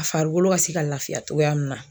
A farikolo ka se ka lafiya togoya min na